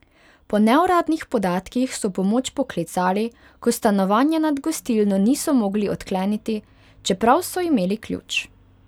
Po neuradnih podatkih so pomoč poklicali, ko stanovanja nad gostilno niso mogli odkleniti, čeprav so imeli ključ.